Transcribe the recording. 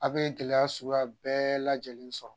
Aw bɛ gɛlɛya suguya bɛɛ lajɛlen sɔrɔ